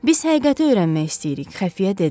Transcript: Biz həqiqəti öyrənmək istəyirik, Xəfiyyə dedi.